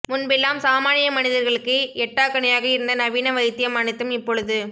முன்பெல்லாம் சாமானிய மனிதர்களுக்கு எட்டாக்கனியாக இருந்த நவீன வைத்தியம் அனைத்தும் இப்பொழுது